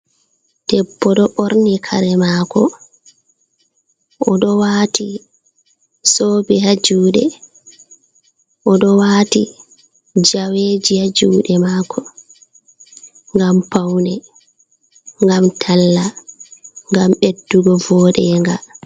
Debbo ɗo ɓorni kare mako oɗo wati zobe ha juɗe oɗo wati jaweji ha juɗe mako ngam paune, ngam talla, ngam ɓeddugo voɗenga.